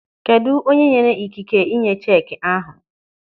Kedụ onye nyere ikike ịnye cheki ahụ?